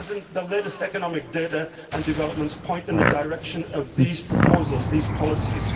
The latest economic data and developments point in the direction of these proposals and these policies.